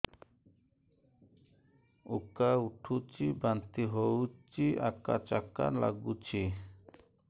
ଉକା ଉଠୁଚି ବାନ୍ତି ହଉନି ଆକାଚାକା ନାଗୁଚି